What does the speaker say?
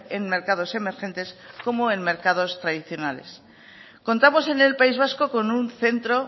en mercados emergentes como en mercados tradicionales contamos en el país vasco con un centro